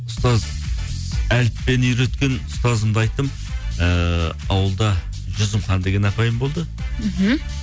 ұстаз әліппені үйреткен ұстазымды айттым ыыы ауылда жүзімхан деген апайым болды мхм